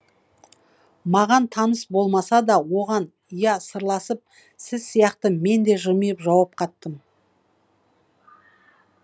маған таныс болмасада оған ия сырласып сіз сияқты менде жмиып жауап қаттым